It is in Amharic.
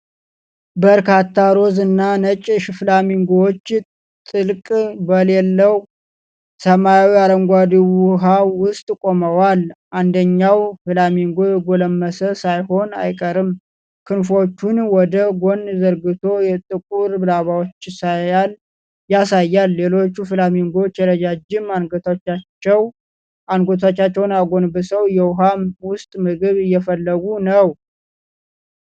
በርካታ ሮዝ እና ነጭ ፍላሚንጎዎች ጥልቀት በሌለው ሰማያዊ አረንጓዴ ውሃ ውስጥ ቆመዋል። አንደኛው ፍላሚንጎ የጎለመሰ ሳይሆን አይቀርም፣ ክንፎቹን ወደ ጎን ዘርግቶ የጥቁር ላባዎቹን ያሳያል። ሌሎች ፍላሚንጎዎች ረጃጅም አንገቶቻቸውን አጎንብሰው የውሃ ውስጥ ምግብ እየፈለጉ ነው።